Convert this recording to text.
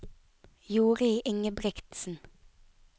Jorid Ingebrigtsen